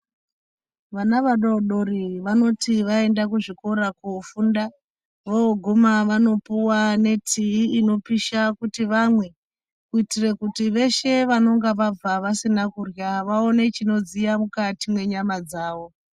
Vana vadodori vanoti vaenda kuzvikora kofunda voguma vanopuwa netii inopisha kuti vamwe kuitire kuti veshe vanonga vabva vasina kurya vaone chinodziya mukati mwenyama dzawo.